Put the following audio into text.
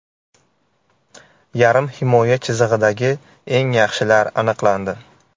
Yarim himoya chizig‘idagi eng yaxshilar aniqlandi .